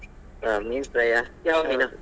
ಹಾ ಮೀನ್ fry ಯಾ ಯಾವ್ ?